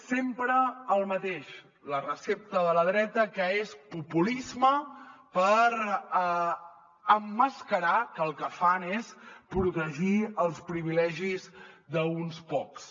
és sempre el mateix la recepta de la dreta que és populisme per emmascarar que el que fan és protegir els privilegis d’uns quants